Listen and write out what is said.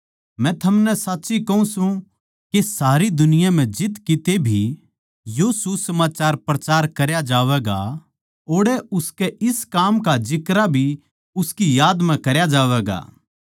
मै थमनै साच्ची कहूँ सूं के सारे जगत म्ह जित किते भी यो सुसमाचार प्रचार करया जावैगा ओड़ै उसकै इस काम का जिक्रा भी उसकी याद म्ह करया जावैगा